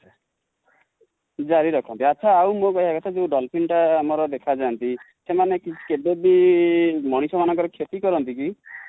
ଜାରି ରଖନ୍ତି ଆଚ୍ଛା ଆଉ ମୋ କହିବା କଥା ଯୋ dolphin ଟା ଆମର ଦେଖା ଯାନ୍ତି ସେମାନେ କେବେ ବି ମଣିଷ ମାଙ୍କର କ୍ଷତି କରନ୍ତି କି ?